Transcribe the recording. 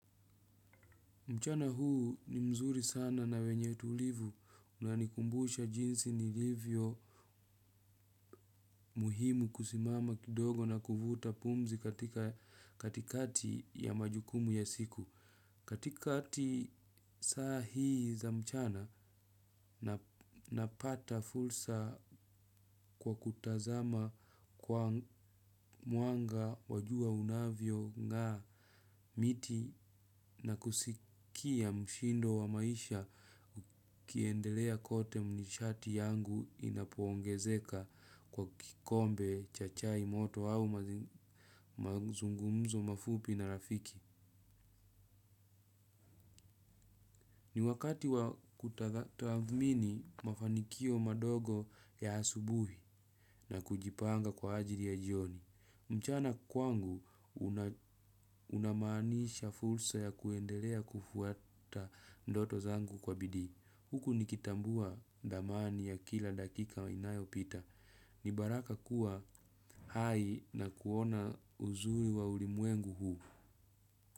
Mchana huu ni mzuri sana na wenye tulivu unanikumbusha jinsi nilivyo muhimu kusimama kidogo na kuvuta pumzi katika katikati ya majukumu ya siku. Katikati sahii za mchana napata fursa kwa kutazama kwa mwanga wa jua unavyo ng'aa miti na kusikia mshindo wa maisha ukiendelea kote mishati yangu inapo ongezeka kwa kikombe chachai moto au mazungumzo mafupi na rafiki. Ni wakati wa kutathmini mafanikio madogo ya asubuhi na kujipanga kwa ajili ya jioni. Mchana kwangu una maanisha fursa ya kuendelea kufuata ndoto zangu kwa bidii. Huku nikitambua dhamani ya kila dakika inayo pita. Ni baraka kuwa hai na kuona uzuri wa ulimwengu huu.